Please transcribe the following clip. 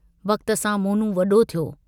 वक्त सां मोनू वडो थियो।